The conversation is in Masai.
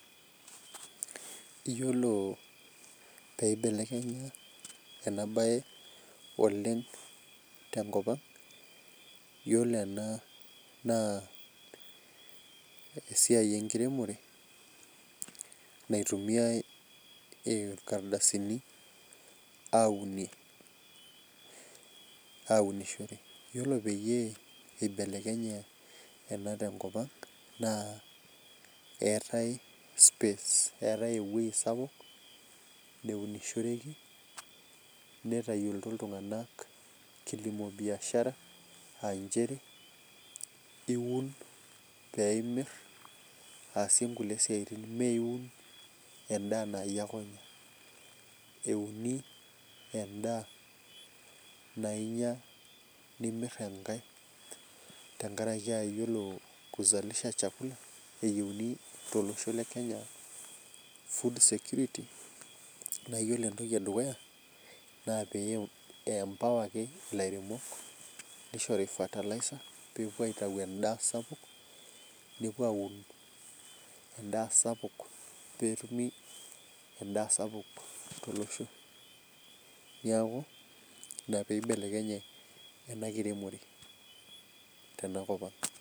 Iyiolo pee eibelekenya ena bae oleng te nkop ang ore ena naa ,esiai enkiremore naitumiae ilakrdasini aunishore. iyiolo peyie eibelekenye ena te nkop ang. naa eetae space eetae ewueji sapuk neunishireki. neitayioloti iltunganak kilimo biashara aa nchere iun pee imir aasiie nkulie siatin. ime iun edaa naa iyie ake onyam euni edaa. naa inyia nimir enkae. tenkaraki aa iyiolo kuzalish chakula eyieuni tolosho le Kenya. food security naa iyiolo entoki edukuya naa pee ilairemok fertilizer pee itayu edaa sapuk. nepuo aun edaa sapuk pee etumie edaa sapuk tolosho. neku ibelekenye enkiremore tena kop ang.